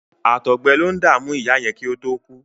Àtọgbẹ lo ń dàmú ìyá yẹn kí ó tó kú.